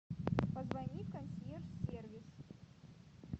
позвони в консьерж сервис